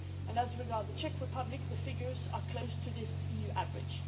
As regards the Czech Republic, the figures are close to this EU average.